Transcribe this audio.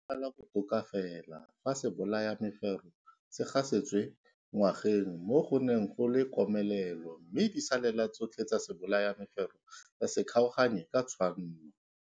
Gala botoka fela fa sebolayamefero se gasetswe mo ngwageng mo go neng go le komelelo mme disalela tsotlhe tsa sebolayamefero tsa se kgaoganye ka tshwanno.